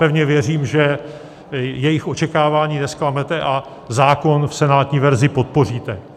Pevně věřím, že jejich očekávání nezklamete a zákon v senátní verzi podpoříte.